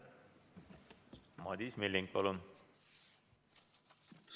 Madis Milling, palun!